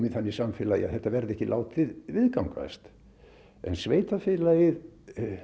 þannig samfélagi að þetta verði ekki látið viðgangast en sveitarfélagið